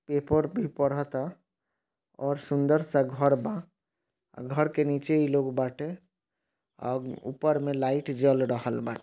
Paper भी पढ़ता और सुंदर सा घर बा घर के नीचे इ लोग बाटे और ऊपर में लाइट जल रहल बा।